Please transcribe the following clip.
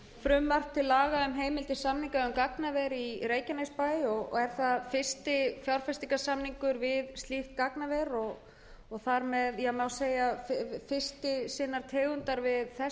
fyrir frumvarp til laga um heimild til samninga um gagnaver í reykjanesbæ er það fyrsti fjárfestingarsamningur við slíkt gagnaver og má segja fyrsti sinnar tegundar við þess háttar